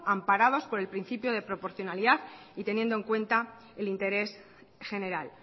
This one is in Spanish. amparados por el principio de proporcionalidad y teniendo en cuenta el interés general